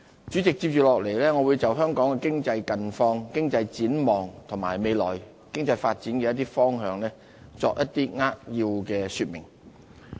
接着下來，我會就香港的經濟近況、經濟展望和未來經濟發展的一些方向作一些扼要的說明。